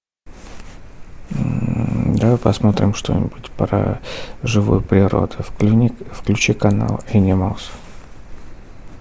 давай посмотрим что нибудь про живую природу включи канал энималс